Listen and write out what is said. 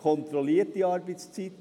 Kontrollierte Arbeitszeit?